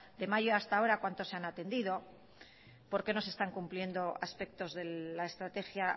de mayo hasta ahora cuántos se ha atendido por qué no se están cumpliendo aspectos de la estrategia